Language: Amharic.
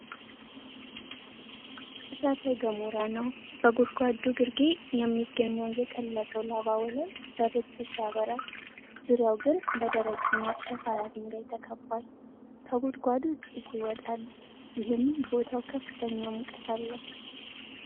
እሳተ ገሞራ ነው፡፡ በጉድጓዱ ግርጌ የሚገኘው የቀለጠው ላቫ ወለል በብርቱ ሲያበራ፣ ዙሪያው ግን በደረቅና ሸካራ ድንጋይ ተከቧል፡፡ ከጉድጓዱ ጭስ ይወጣል፤ ይህም ቦታው ከፍተኛ ሙቀት አለው፡፡